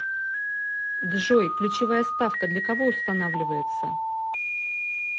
джой ключевая ставка для кого устанавливается